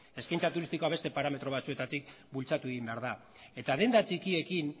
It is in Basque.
eskaintza turistikoa beste parametro batzuetatik bultzatu egin behar da eta denda txikiekin